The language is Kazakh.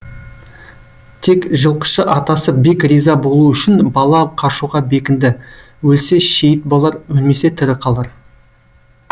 тек жылқышы атасы бек риза болу үшін бала қашуға бекінді өлсе шейіт болар өлмесе тірі қалар